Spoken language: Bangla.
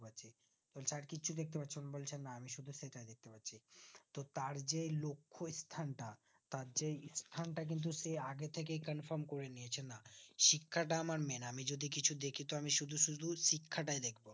বলছে আর কিছু দেখতে পাচ্ছ না বলছে না আমি শুধু সেটাই দেখতে পাচ্ছি তো তার যে এই লক্ষস্থানটা তার সেই স্থানটা কিন্তু সে আগেথেকেই confirm করে নিয়েছিল শিক্ষাটা আমার main আমি যদি কিছু দেখি তো আমি শুধু শুধু শিক্ষাটাই দেখবো